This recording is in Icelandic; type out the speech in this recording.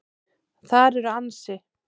Þar eru ansi